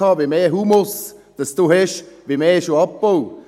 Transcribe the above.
Je mehr Humus Sie haben, desto mehr gibt es auch Abbau.